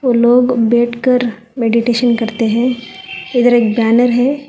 और लोग बैठकर मेडिटेशन करते हैं इधर एक बैनर है।